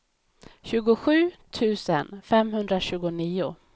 tjugosju tusen femhundratjugonio